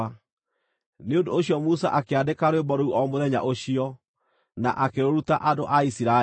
Nĩ ũndũ ũcio Musa akĩandĩka rwĩmbo rũu o mũthenya ũcio, na akĩrũruta andũ a Isiraeli.